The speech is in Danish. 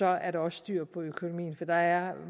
er der også styr på økonomien for der er